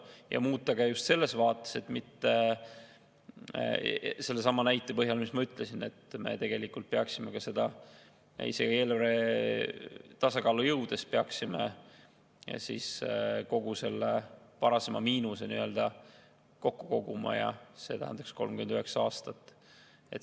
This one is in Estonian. Ja muuta ka just selles vaates – sellesama näite põhjal, mis ma ütlesin –, et isegi eelarvetasakaalu jõudes me peaksime kogu selle varasema miinuse kokku koguma, ja see tähendaks 39 aastat.